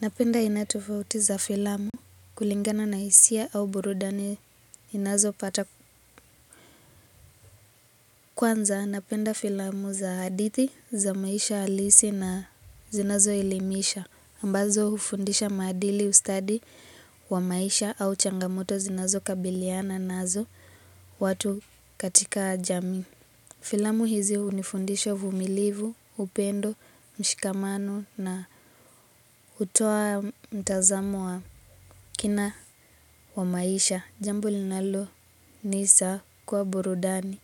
Napenda aina tofauti za filamu kulingana na hisia au burudani inazo pata kwanza. Napenda filamu za hadithi za maisha halisi na zinazo elimisha. Ambazo hufundisha maadili ustadi wa maisha au changamoto zinazo kabiliana nazo watu katika jami. Filamu hizi hunifundisha uvumilivu, upendo, mshikamano na hutoa mtazamo wa kina wa maisha. Jambo linalo nisa kwa burudani.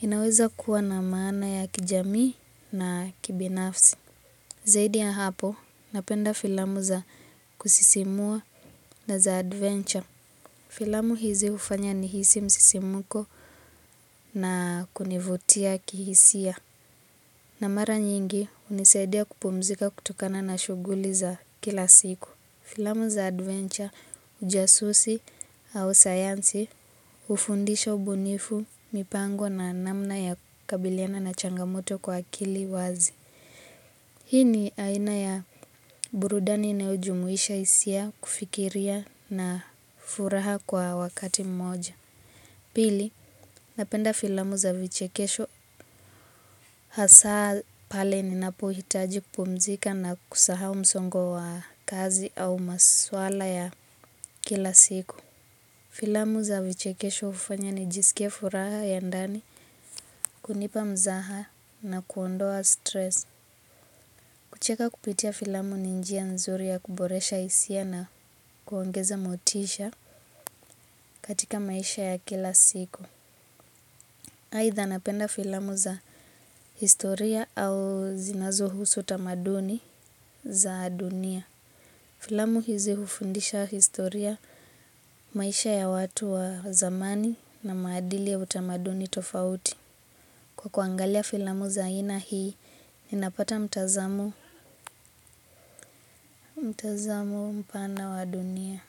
Inaweza kuwa na maana ya kijamii na kibinafsi. Zaidi ya hapo, napenda filamu za kusisimua na za adventure. Filamu hizi hufanya nihisi msisimuko na kunivutia kihisia. Na mara nyingi hunisaidia kupumzika kutokana na shuguli za kila siku. Filamu za adventure ujasusi au sayansi hufundisha ubunifu mipango na namna ya kabiliana na changamoto kwa akili wazi. Hii ni aina ya burudani inayo jumuisha hisia kufikiria na furaha kwa wakati mmoja. Pili, napenda filamu za vichekesho hasa pale ninapo hitaji kupumzika na kusahau msongo wa kazi au maswala ya kila siku. Filamu za vichekesho hufanya ni jisikie furaha ya ndani kunipa mzaha na kuondoa stress. Kucheka kupitia filamu ni njia nzuri ya kuboresha hisia na kuongeza motisha katika maisha ya kila siku. Aidha napenda filamu za historia au zinazo husu utamaduni za adunia. Filamu hizi hufundisha historia maisha ya watu wa zamani na maadili ya utamaduni tofauti. Kwa kuangalia filamu za ina hii, ninapata mtazamo mpana wa dunia.